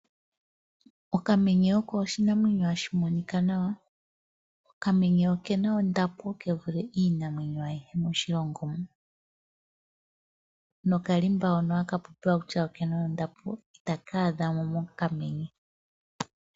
Okamenye oko oshinamwenyo hashi monika nawa. Okamenye oke na ondapo kevule iinamwenyo ayihe moshilongo muno. Nokalimba hoka haku tiwa oke na ondapo, ita ka adhamo mokamenye.